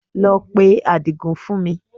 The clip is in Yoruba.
Lọ pe Àdìgún fún mi